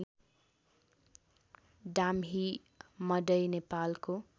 डाम्ही मडै नेपालको